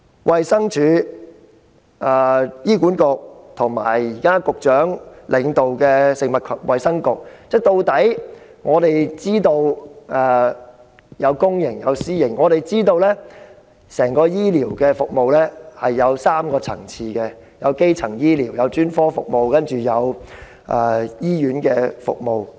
衞生署、醫院管理局及局長現時領導的食物及衞生局的公營醫療服務，以及私營醫療服務可分為3個層次：基層醫療、專科服務及醫院服務。